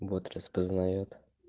бот распознаёт